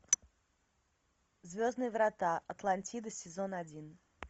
звездные врата атлантида сезон один